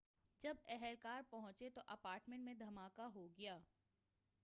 جب اہلکار پہنچنے تو اپارٹمنٹ میں دھماکہ ہو گیا